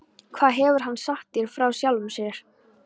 Hvað hefur hann sagt þér frá sjálfum sér?